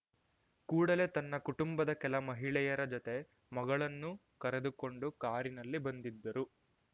ಕೂಡಲೇ ತನ್ನ ಕುಟುಂಬದ ಕೆಲ ಮಹಿಳೆಯರ ಜೊತೆ ಮಗಳನ್ನು ಕರೆದುಕೊಂಡು ಕಾರಿನಲ್ಲಿ ಬಂದಿದ್ದರು